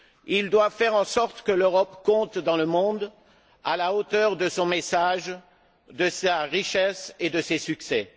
Ils doivent faire en sorte que l'Europe compte dans le monde à la hauteur de son message, de sa richesse et de ses succès.